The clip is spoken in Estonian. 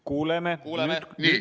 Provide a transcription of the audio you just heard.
Kuuleme, nüüd kuuleme!